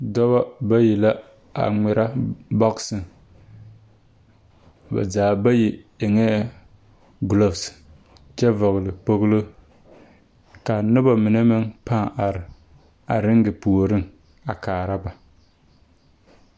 Dɔbɔ bayi la a ba zaa bayi eŋɛɛ gloves kyɛ vɔɔle kpoŋlo kaa nobɔ mine meŋ pãã are a reŋe puoriŋ a kaara ba.